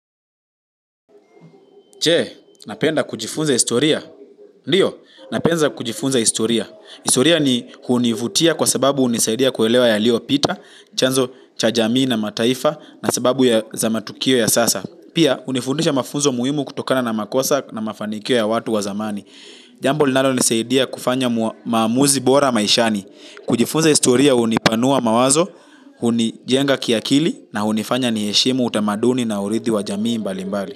Je unapenda kujifunza historia. Ndiyo, napenda kujifunza historia. Historia ni hunivutia kwa sababu hunisaidia kuelewa yaliyopita, chanzo cha jamii na mataifa na sababu ya matukio ya sasa. Pia, hunifundisha mafunzo muhimu kutokana na makosa na mafanikio ya watu wa zamani. Jambo linalonisaidia kufanya maamuzi bora maishani. Kujifunza historia hunipanua mawazo, hunijenga kiakili na hunifanya ni heshimu utamaduni na urithi wa jamii mbalimbali.